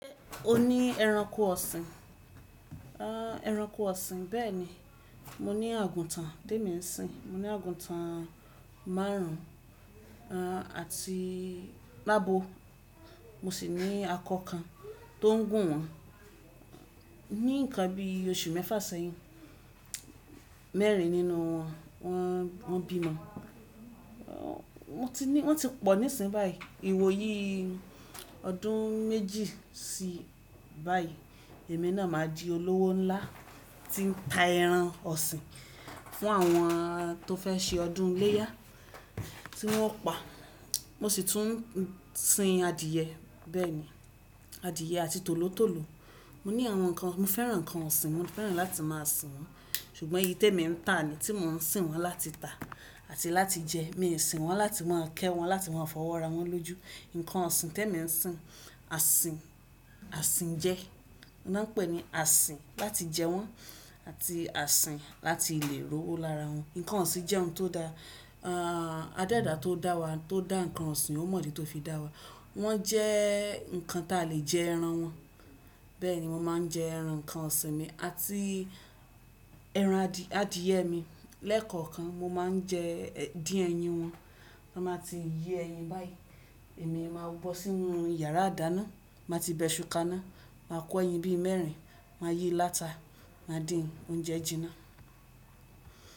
Ṣé o ní ẹranko ọ̀sìn? Ah ẹranko ọ̀sìn, bẹ́ẹ̀ni. Mo ní àgùntàn témi ń sìn. Mo ní àgùntàn márùn-ún, r àti mábò. Mo sì ní akọ kan tó ń gùn wọ́n. Ni ǹkan bí oṣù mẹ́fà sẹ́yìn. Mẹ́rin nínú wọ́n, wọ́n, wọ́n bímọ. R wọ́n ti ní, wọ́n ti pọ̀ nísìnyí báyìí. Iwòyìí ọdún méjì sí báyìí. Ẹ̀mí náà máa di olówó ńlá tí ń ta ẹran ọ̀sìn fún àwọn tó fẹ́ se ọdún iléyá tí wọ́n o pa. Mo sì tún ń sin adìyẹ bẹ́ẹ̀ ni. Adìẹ àti tòlótòló. Mo ní àwọn ǹkan, mo fẹ́ran ǹkan ọ̀sìn, mo fẹ́ran láti máa sìn wọ́n. Ṣùgbọ́n èyí tẹ mi ń tà ni tí mo ń sìn wọ́n láti tà àti láti jẹ. Èmi sìn wọ́n láti wọ́n kẹ́ wọn, láti wọ́n fọwọ́ ra wọ́n lójú. Nǹkan ọ̀sìn tẹ mi ń sìn, àsìn, àsìn jẹ. Na pẹ́ ni àsìn láti jẹ wọ́n àti àsìn láti lè ro owó lára wọn. Nǹkan ọ̀sìn jẹ́ ohun tó da. Ah adẹ́dàá tó dá wa, tó dá nǹkan ọ̀sìn ò mọ̀ dí tó fi dá wa. Wọ́n jẹ́ nǹkan tí a le jẹ ẹran wọn. Bẹ́ẹ̀ni, mo máa ń jẹ ẹran nǹkan ọ̀sìn mi àti ẹran adì, adìẹ mi. Lẹ́ẹ̀kọ̀ọ̀kan mo máa ń jẹ díń ẹyin wọn. B'wọ́n bá ti yé ẹyin báyìí. Èmi máa wọ̀ bọ́ sínú yàrá ìdáná, màá ti bẹṣu ká iná, màá kọ́ ẹyin bí i mẹ́rin, màá yíí láta, màá dín oúnjẹ jí iná.